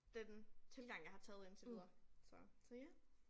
Den tilgang jeg har taget indtil videre så så ja